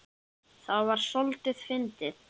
Það er soldið fyndið.